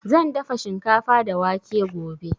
Zan dafa shikafa da wake gobe.